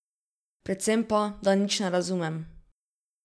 Predvsem pa, da nič ne razumem...